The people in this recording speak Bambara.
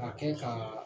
Ka kɛ ka